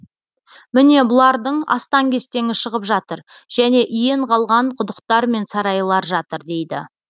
міне бұлардың астан кестеңі шығып жатыр және иен қалған құдықтар мен сарайлар жатыр дейді